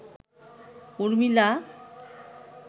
Urmila